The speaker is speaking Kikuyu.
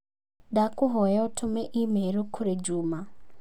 ndakũhoya utume i-mīrū kũrĩ juma